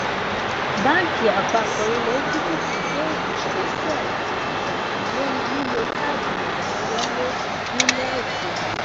bánkì àpapọ ilẹ egypt gbé ìgbésẹ láti ṣòfin lórí lílo káàdì ìrawọlé nílẹ òkèèrè